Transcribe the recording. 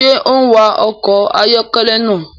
Ṣe o n wa ọkọ ayọkẹlẹ náà?